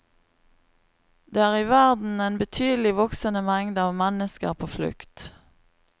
Det er i verden en betydelig voksende mengde av mennesker på flukt.